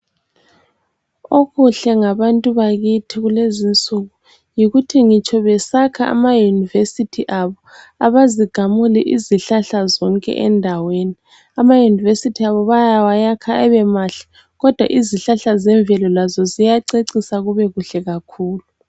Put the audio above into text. Okuhle ngabantu bakithi kulezi insuku yikuthi ngitsho besakha ama university abo abazigamuli izihlahla zonke endaweni. Ama university abo bayawayakha ebe mahle kodwa izihlahla zemvelo lazo ziyacecisa kube kuhle kakhulu.